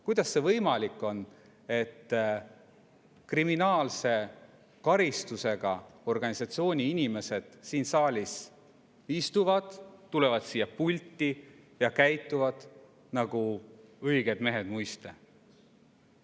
Kuidas see võimalik on, et kriminaalse karistusega organisatsiooni inimesed siin saalis istuvad, tulevad siia pulti ja käituvad nagu õiged mehed muiste?